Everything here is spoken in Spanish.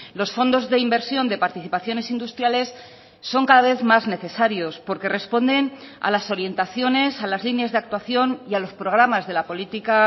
los fondos de inversión de participaciones industriales son cada vez más necesarios porque responden a las orientaciones a las líneas de actuación y a los programas de la política